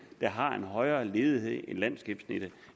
der har en højere ledighed end landsgennemsnittet